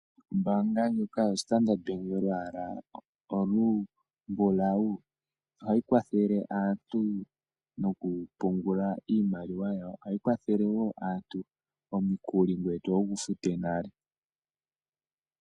Ombaanga ndjika yoStandard Bank yolwala olumbulawu ohayi kwathele aantu mokupungula iimaliwa yawo, ohayi kwathele wo aantu omukuli ngoye toya wugufute nale.